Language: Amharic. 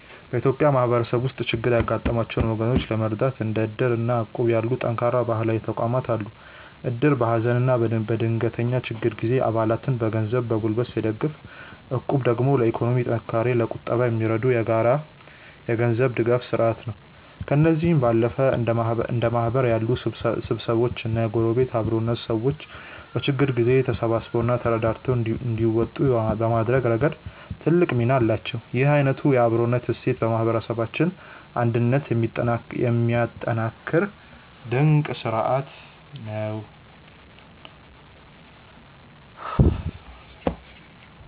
በኢትዮጵያ ማህበረሰብ ውስጥ ችግር ያጋጠማቸውን ወገኖች ለመርዳት እንደ እድር እና እቁብ ያሉ ጠንካራ ባህላዊ ተቋማት አሉ። እድር በሀዘንና በድንገተኛ ችግር ጊዜ አባላትን በገንዘብና በጉልበት ሲደግፍ፣ እቁብ ደግሞ ለኢኮኖሚ ጥንካሬና ለቁጠባ የሚረዳ የጋራ የገንዘብ ድጋፍ ስርአት ነው። ከእነዚህም ባለፈ እንደ ማህበር ያሉ ስብስቦችና የጎረቤት አብሮነት፣ ሰዎች በችግር ጊዜ ተሳስበውና ተረዳድተው እንዲወጡ በማድረግ ረገድ ትልቅ ሚና አላቸው። ይህ አይነቱ የአብሮነት እሴት የማህበረሰባችንን አንድነት የሚያጠናክር ድንቅ ስርአት ነው።